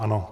Ano.